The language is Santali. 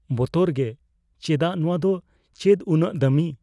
ᱵᱚᱛᱚᱨ ᱜᱮ? ᱪᱮᱫᱟᱜ? ᱱᱚᱶᱟ ᱫᱚ ᱪᱮᱫ ᱩᱱᱟᱹᱜ ᱫᱟᱹᱢᱤ ?